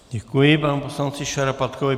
Děkuji panu poslanci Šarapatkovi.